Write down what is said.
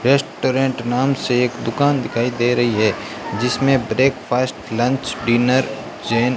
restaurant नाम से एक दुकान दिखाई दे रही है जिसमें ब्रेकफास्ट लंच डिनर जैन --